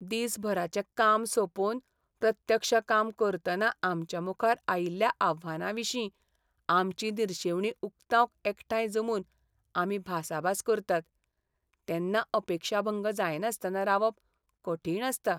दिसभराचें काम सोंपोवन, प्रत्यक्ष काम करतना आमच्यामुखार आयिल्ल्या आव्हानांविशीं आमची निरशेवणी उक्तावंक एकठांय जमून आमी भासाभास करतात, तेन्ना अपेक्षाभंग जायनासतना रावप कठीण आसता. .